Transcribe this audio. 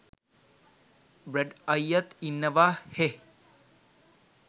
බ්‍රැඩ් අයියත් ඉන්නවා හෙහ්.